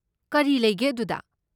ꯀꯔꯤ ꯂꯩꯒꯦ ꯑꯗꯨꯗ?